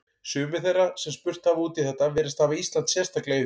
Sumir þeirra sem spurt hafa út í þetta virðast hafa Ísland sérstaklega í huga.